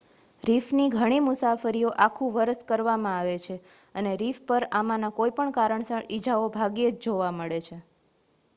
રીફની ઘણી મુસાફરીઓ આખું વર્ષ કરવામાં આવે છે અને રીફ પર આમાંના કોઈ પણ કારણસર ઇજાઓ ભાગ્યે જ જોવા મળે છે